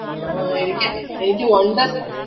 ആഹ് എനിക്കെ എനിക്ക് wonderla